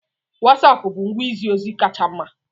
Wosapu bụ ngwa izi ozi kacha mma.